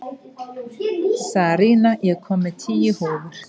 Sarína, ég kom með tíu húfur!